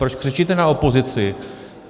Proč křičíte na opozici?